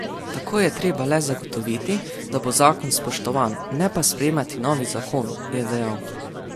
Tako je treba le zagotoviti, da bo zakon spoštovan, ne pa sprejemati novih zakonov, je dejal.